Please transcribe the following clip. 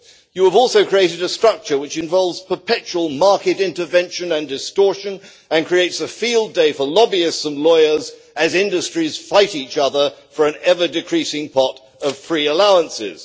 You have also created a structure which involves perpetual market intervention and distortion and creates a field day for lobbyists and lawyers, as industries fight each other for an ever decreasing pot of free allowances.